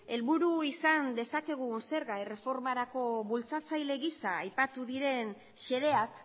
helburu izan dezakegun zerga erreformarako bultzatzaile gisa aipatu diren xedeak